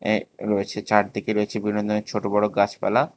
এ রয়েছে চারদিকে রয়েছে বিভিন্ন ধরনের ছোট বড়ো গাছপালা।